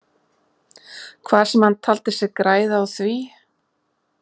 Hvað sem hann taldi sig græða á því.